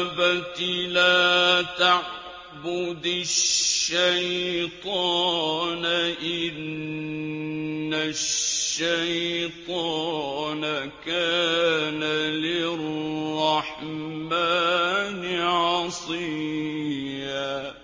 أَبَتِ لَا تَعْبُدِ الشَّيْطَانَ ۖ إِنَّ الشَّيْطَانَ كَانَ لِلرَّحْمَٰنِ عَصِيًّا